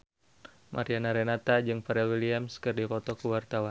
Mariana Renata jeung Pharrell Williams keur dipoto ku wartawan